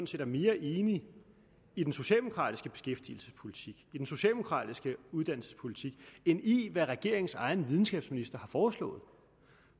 set er mere enig i den socialdemokratiske beskæftigelsespolitik i den socialdemokratiske uddannelsespolitik end i hvad regeringens egen videnskabsminister har foreslået